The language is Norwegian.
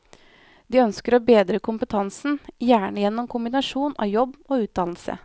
De ønsker å bedre kompetansen, gjerne gjennom kombinasjonen av jobb og utdannelse.